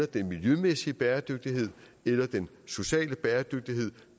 den miljømæssige bæredygtighed eller den sociale bæredygtighed